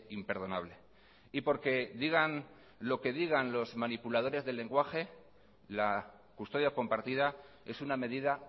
imperdonable y porque digan lo que digan los manipuladores del lenguaje la custodia compartida es una medida